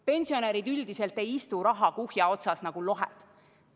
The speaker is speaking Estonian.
Pensionärid üldiselt ei istu rahakuhja otsas nagu lohed.